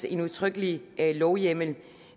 en udtrykkelig lovhjemmel